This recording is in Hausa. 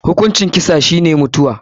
Hukuncin kisa shi ne mutuwa.